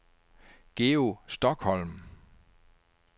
Georg Stokholm